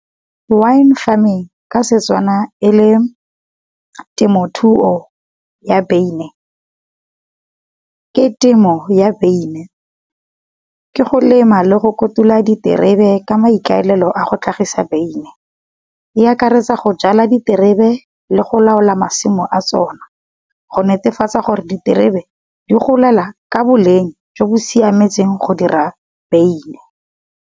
Wine farming ka setswana e le temothuo ya beine. Ke temo ya beine, ke go lema le go kotula di terebe ka maikaelelo a go tlhagisa beine. E akaretsa go jala di terebe le go laola masimo a tsona, go netefatsa gore di terebe di golela ka boleng jo bo siametseng go dira beine.